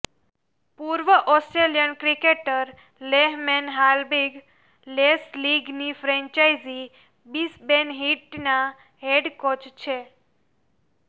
પૂર્વ Australian cricketer Lehmann હાલ Big Bash લીગની ફ્રેન્ચાઈઝી બિસબેન હીટના હેડ કોચ છે